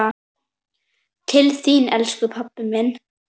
Til þín, elsku pabbi minn.